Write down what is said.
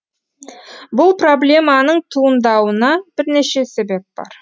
бұл проблеманың туындауына бірнеше себеп бар